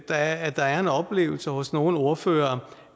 at der er en oplevelse hos nogle ordførere